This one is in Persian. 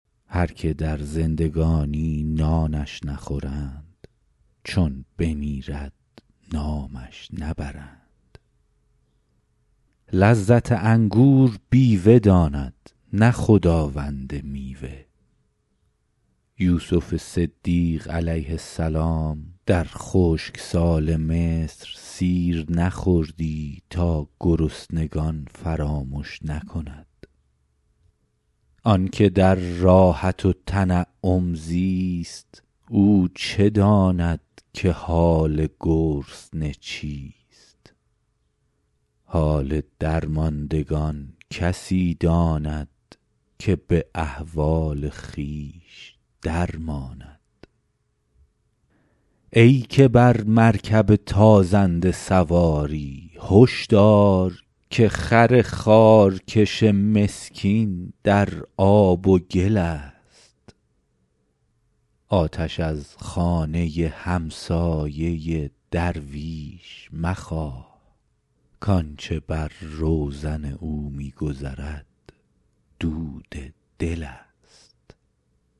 هر که در زندگانی نانش نخورند چون بمیرد نامش نبرند لذت انگور بیوه داند نه خداوند میوه یوسف صدیق علیه السلام در خشکسال مصر سیر نخوردی تا گرسنگان فراموش نکند آن که در راحت و تنعم زیست او چه داند که حال گرسنه چیست حال درماندگان کسی داند که به احوال خویش در ماند ای که بر مرکب تازنده سواری هش دار که خر خارکش مسکین در آب و گل است آتش از خانه همسایه درویش مخواه کآنچه بر روزن او می گذرد دود دل است